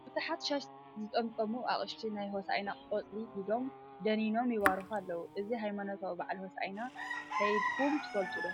ብዙሓት ሻሽ ዝጠምጠሙ ኣቅሽቲ ናይ ሆስኣና ቆፅሊ ሒዞም ደኒኖም ይባርኩ ኣለው ። እዚ ሃይማኖታዊ ብዓል ሆስኣና ከይድኩም ትፈልጡ ዶ ?